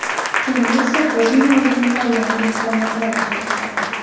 Endi esa bizning oldimizda yangi imkoniyatlar ochilmoqda.